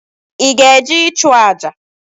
Ị ga-eje ịchụ àjà?